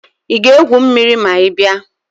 Ị ga-egwu mmiri ma ị bịa?